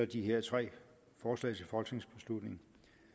de her tre forslag til folketingsbeslutning